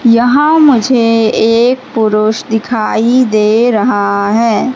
यहां मुझे एक पुरुष दिखाई दे रहा है।